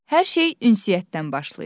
Hər şey ünsiyyətdən başlayır.